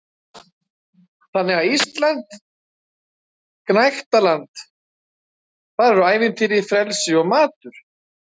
Þannig er Ísland gnægtaland- þar eru ævintýri, frelsi og matur.